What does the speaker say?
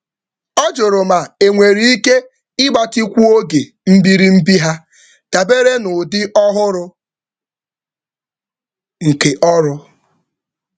Ọ lebara anya ma ọ dị mma ịtụgharị oge njedebe dabere na oke ọrụ ọhụrụ.